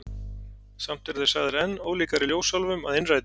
Samt eru þeir sagðir enn ólíkari ljósálfum að innræti.